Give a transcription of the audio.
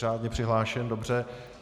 Řádně přihlášen, dobře.